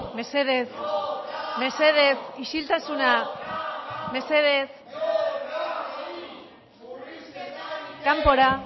mesedez mesedez mesedez isiltasuna kanpora